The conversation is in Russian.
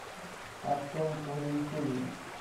артем валентинович